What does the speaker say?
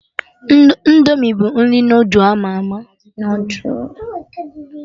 Indomi bụ nri noodul ama ama